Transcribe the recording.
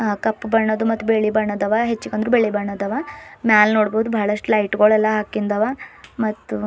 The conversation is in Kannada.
ಆ ಕಪ್ ಬಣ್ಣದ ಮತ್ತು ಬೆಳಿ ಬಣ್ಣದ್ ಅವ ಈ ಹೆಚ್ಚಿಕಂದ್ರ ಬಿಳಿ ಬಣ್ಣದವ ಮ್ಯಾಲ್ ನೋಡಬಹುದು ಬಾಳಷ್ಟು ಲೈಟ್ ಗೂಳು ಎಲ್ಲಾ ಹಾಕಿಂದವಾ ಮತ್ ಒ--